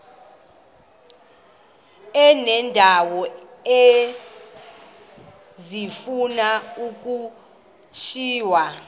uneendawo ezifuna ukushiywa